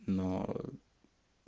но